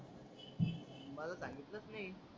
मला सांगितलच नाही.